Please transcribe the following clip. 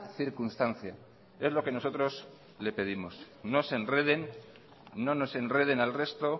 circunstancia es lo que nosotros le pedimos no se enreden no nos enreden al resto